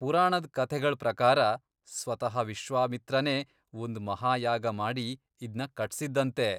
ಪುರಾಣದ್ ಕಥೆಗಳ್ ಪ್ರಕಾರ, ಸ್ವತಃ ವಿಶ್ವಾಮಿತ್ರನೇ ಒಂದ್ ಮಹಾಯಾಗ ಮಾಡಿ ಇದ್ನ ಕಟ್ಸಿದ್ದಂತೆ.